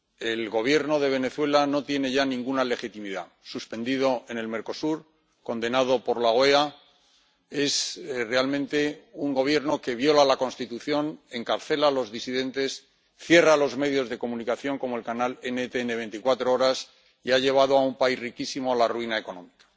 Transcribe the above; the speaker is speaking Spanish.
El Gobierno de Venezuela no tiene ya ninguna legitimidad, suspendido en el Mercosur, condenado por la OEA, es realmente un Gobierno que viola la Constitución, encarcela a los disidentes, cierra los medios de comunicación como el canal NTN24 y ha llevado a un país riquísimo la ruina económica.